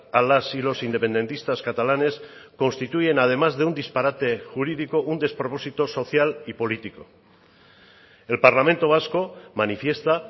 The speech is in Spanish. a las y los independentistas catalanes constituyen además de un disparate jurídico un despropósito social y político el parlamento vasco manifiesta